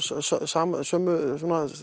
sömu